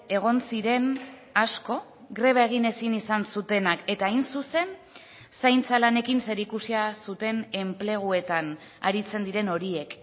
egon ziren asko greba egin ezin izan zutenak eta hain zuzen zaintza lanekin zerikusia zuten enpleguetan aritzen diren horiek